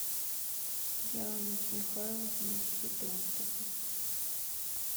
дианой михайловной федотовой